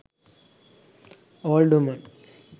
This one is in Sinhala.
old women